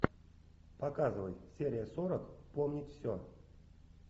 показывай серия сорок помнить все